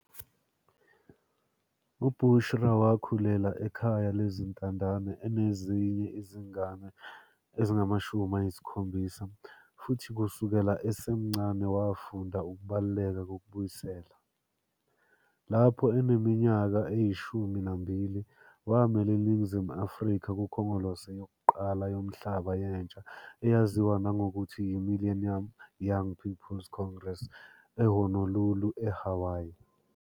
U-Bushra Wakhulela ekhaya lezintandane enezinye izingane ezingu-70 futhi kusukela esemncane wafunda ukubaluleka kokubuyisela. Lapho eneminyaka eyi-12, wamela iNingizimu Afrika kuKhongolose yokuqala Yomhlaba Yentsha eyaziwa nangokuthi yi-Millennium Young People's Congress e-Honolulu, eHawaii.